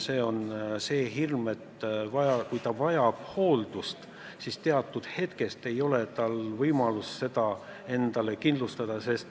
See on see hirm, et kui nad vajavad hooldust, siis neil ei ole võimalik seda endale kindlustada.